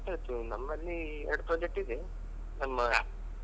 ಹಾ ಆಯ್ತ್ ಆಯ್ತು ನಮ್ಮಲ್ಲಿ ಎರಡು project ಇದೆ ನಮ್ಮ.